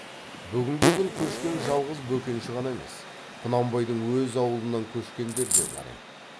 бүгінгі күн көшкен жалғыз бөкенші ғана емес құнанбайдың өз аулынан көшкендер де бар еді